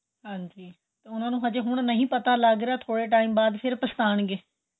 ਹਾਂਜੀ ਤੇ ਉਹਨਾ ਨੂੰ ਅਜੇ ਹੁਣ ਨਹੀਂ ਪਤਾ ਲੱਗ ਰਿਹਾਂ ਥੋੜੇ time ਬਾਅਦ ਫ਼ਿਰ ਪੱਛਤਾਉਣ ਗਏ